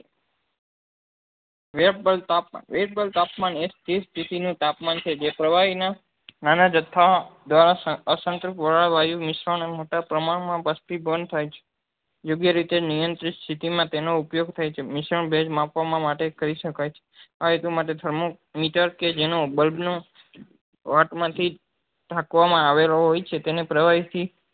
યોગ્ય રીતે નિયંત્રિત સ્થિતિ માં તેનો ઉપયોગ થાય છે મિશ્રણ ભેજ માપવા માં માટે કરી શકાય છે thermometer કે જેનું bulb નું થી જ ઢાંકવા માં આવેલો હોય છે તેને પ્રવાહી થી